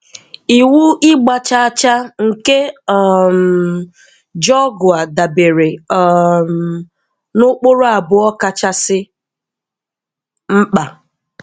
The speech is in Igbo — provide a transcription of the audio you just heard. Ịwụ ịgba chaa chaa nke um Georgoa dabere um na ụkpụrụ abụọ kachasị mkpa.